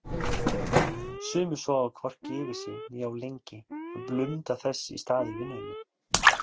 Sumir sofa hvorki yfir sig né of lengi en blunda þess í stað í vinnunni.